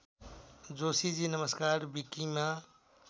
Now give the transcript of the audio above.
जोशीजी नमस्कार विकिमा